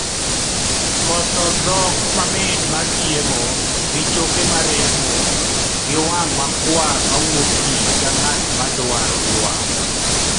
koso dhot mamit mar chiemo gi choke maremo, gi wang' makwar mawuok pi ka ng'at madwaro yuak